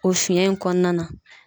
O fiyɛn in kɔnɔna na.